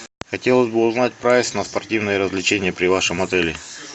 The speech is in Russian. хотелось бы узнать прайс на спортивные развлечения при вашем отеле